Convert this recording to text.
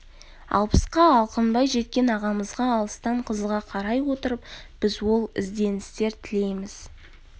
алпысқа алқынбай жеткен ағамызға алыстан қызыға қарай отырып біз ол ізденістер тілейміз